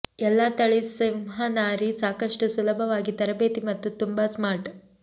ಎಲ್ಲಾ ತಳಿ ಸಿಂಹನಾರಿ ಸಾಕಷ್ಟು ಸುಲಭವಾಗಿ ತರಬೇತಿ ಮತ್ತು ತುಂಬಾ ಸ್ಮಾರ್ಟ್